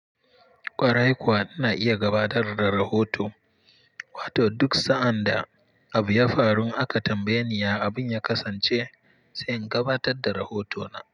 Kwarai kuwa na iya gabatar da rahoto, wato duk sa'ad da abu ya faru aka tambaye ni abin ya kasance zan gabatar da rohoto na.